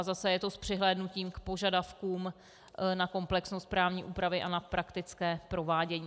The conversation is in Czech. A zase je to s přihlédnutím k požadavkům na komplexnost právní úpravy a na praktické provádění.